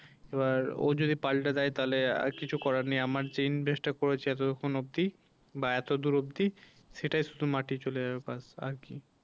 এবার ও যদি পাল্টে দেয় তাহলে আর কিছু করার নেই আমার যে invest টা করেছি এতক্ষন অবধি বা এতদূর অবধি সেটায় শুধু মাটি চলে যাবে ব্যাস আর কি।